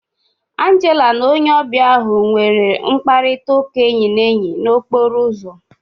Angela na onye ọbịa ahu nwere mkparịta ụka enyi na enyi na okporo ụzọ